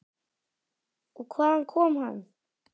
Og hvaðan kom hann?